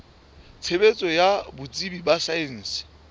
tshebetso ya botsebi ba saense